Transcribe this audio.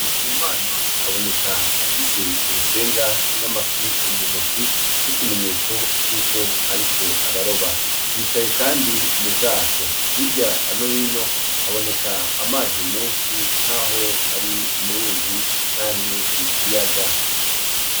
Ndikumana aboneka afise urusenga n'amafi muntoki nkikimenyetso cuko ariko araroba yicaye kandi m'ubwato hirya nohino haboneka amazi meshi nkaho ari muruzi canke ikiyaga